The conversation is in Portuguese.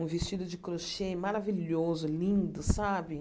Um vestido de crochê maravilhoso, lindo, sabe?